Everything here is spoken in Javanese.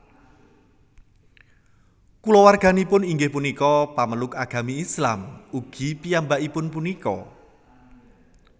Kulawarganipun inggih punika pamaluk Agami Islam ugi piyambakipun punika